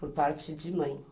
Por parte de mãe.